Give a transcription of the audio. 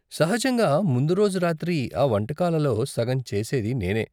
సహజంగా ముందు రోజు రాత్రి ఆ వంటకాలలో సగం చేసేది నేనే.